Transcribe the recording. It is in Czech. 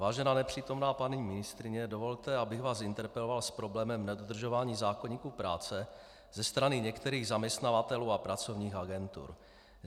Vážená nepřítomná paní ministryně, dovolte, abych vás interpeloval s problémem nedodržování zákoníku práce ze strany některých zaměstnavatelů a pracovních agentur.